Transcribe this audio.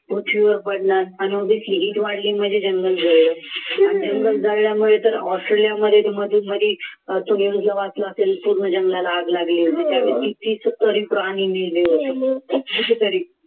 पृथ्वीवर पडणार आणि अधिक hear वाढली म्हणजे जंगल जळले जंगल जळल्यामुळे तर ऑस्ट्रेलिया मध्येच तुम्ही हे वाचलं असेल की पूर्ण जंगलात आग लागली होती कितीतरी प्राणी मेले होते कितीतरी